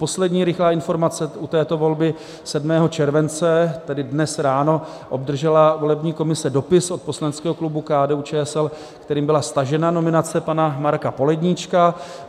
Poslední rychlá informace u této volby: 7. července, tedy dnes ráno, obdržela volební komise dopis od poslaneckého klubu KDU-ČSL, kterým byla stažena nominace pana Marka Poledníčka.